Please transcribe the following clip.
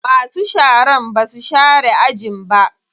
Masu sharan basu share ajin ba.